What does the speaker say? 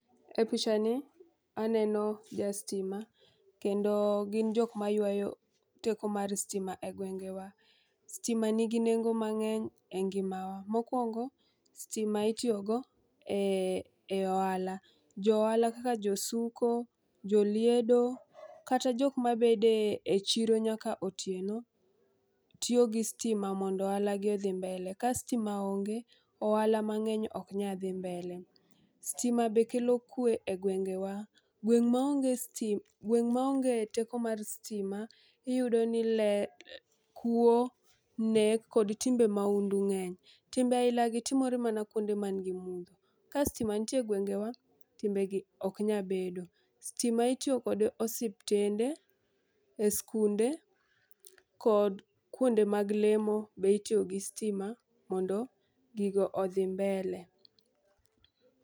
E picha ni aneno ja stima kendo gin jok maywayo teko mar stima e gwenge wa. Stima nigi nengo mang'eny e ngimawa. Mokwongo stima itiyo go e e e ohala , johala kaka josuko, joliedo kata jok ma bede e chiro nyaka otieno, tiyo gi stima mondo ohala gi odhi mbele. Ka stima onge ohala mang'eny ok nyal dhi mbele. Stima be kelo kwe e gwengewa, gweng ma onge sti gweng ma onge teko mar stima iyiso ni kuo, nek kod timbe maundu ng'eny timbe aila gi timore mana kuonde man gi mudho. Ka stima nitie gwenge wa timbegi ok nya bedo. Stima itiyo kos osiptende, e skunde kod kuonde mag lemo be itiyo gi stima mondo gigo odhi mbele.